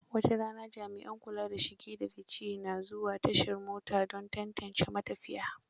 Wataran jami'an kula da shige da fice na zuwa tashar mota don tantance ma tafiya.